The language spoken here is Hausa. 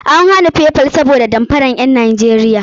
An iyakance Paypal ne sabida damfara na ƴan Najeriya.